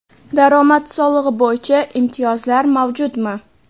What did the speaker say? daromad solig‘i bo‘yicha imtiyozlar mavjudmi?.